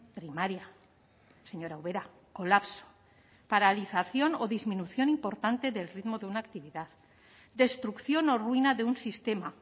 primaria señora ubera colapso paralización o disminución importante del ritmo de una actividad destrucción o ruina de un sistema